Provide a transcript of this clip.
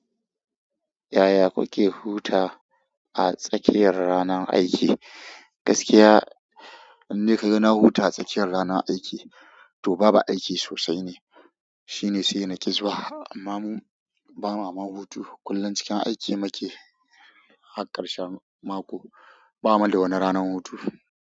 Yaya kuke huta a tsakiyar ranar aiki? Gaskiya, indai ka ga na huta a tsakiyar ranar aiki, to ba aiki sosai ne. Shi ne sai na ki zuwa, amma mu ba ma ma hutu. Kullum cikin aiki muke, har ƙarshen mako, ba mu da wani ranar hutu.